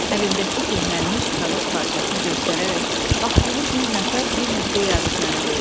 Əlindəki köhnəlmiş kağız parçasını göstərərək, bax bunu bir nəfər bir həftə yazıb mənə verdi.